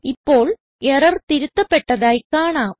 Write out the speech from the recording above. ഇപ്പോൾ എറർ തിരുത്തപ്പെട്ടതായി കാണാം